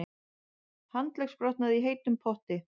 Handleggsbrotnaði í heitum potti